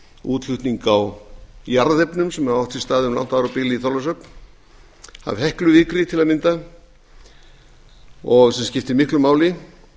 útflutning á jarðefnum sem hefur átt sér stað um langt árabil í þorlákshöfn af hekluvikri til að mynda sem skiptir miklu máli